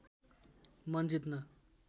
मन जित्न